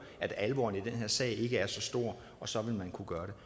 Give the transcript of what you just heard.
at alvoren i den her sag ikke er så stor og så vil man kunne gøre